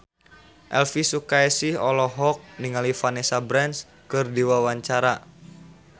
Elvi Sukaesih olohok ningali Vanessa Branch keur diwawancara